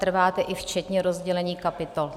Trváte i včetně rozdělení kapitol?